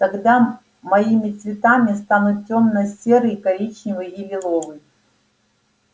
тогда моими цветами станут тёмно-серый коричневый и лиловый